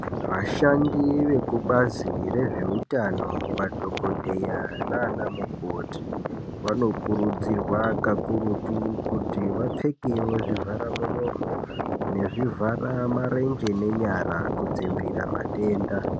Vashandi vekubazi rezveutano madhokodheya nanamukoti vanokurudzirwa kakurutu kuti vapfekewo zvivharamuromo nezvivharamarenje nenyara kudzivirira matenda.